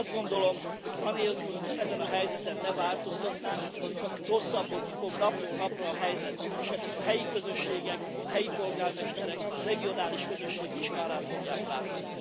Azt gondolom, hogy anélkül, hogy ezen a helyzeten ne változtatnánk, csak rosszabbodni fog napról napra a helyzet, és ennek a helyi közösségek, a helyi polgármesterek, a regionális közösségek is kárát fogják látni.